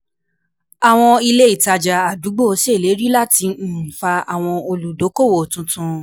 Àwọn ilé-ìtajà àdúgbò ṣèlérí láti um fa àwọn olùdókòwò tuntun